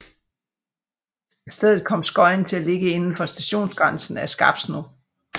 I stedet kom Skøyen til at ligge indenfor stationsgrænsen af Skarpsno